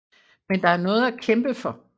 Men der er noget at kæmpe for